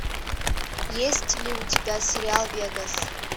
есть ли у тебя сериал вегас